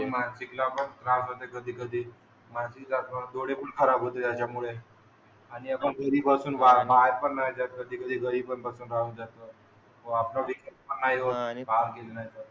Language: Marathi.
हो मानसिकला पण त्रास होते कधी कधी. पण, डोळेपण खराब होते याच्यामुळे. आणि आपण घरी बसून बा बाहेर पण नाही जात कधीकधी घरी पण बसून राहून जाते.